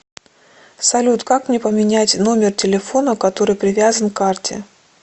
салют как мне поменять номер телефона который привязан к карте